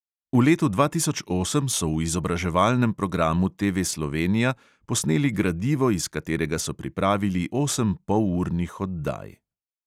V letu dva tisoč osem so v izobraževalnem programu TV slovenija posneli gradivo, iz katerega so pripravili osem polurnih oddaj.